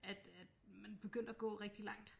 At at man begyndte at gå rigtig langt